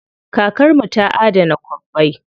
Kakar mu ta adana kwabbai.